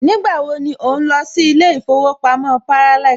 Nígbà wo ni ò ń lọ sí ilé ìfowópamọ́ Parallax